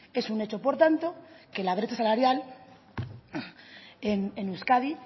es un hecho por tanto que la brecha salarial en euskadi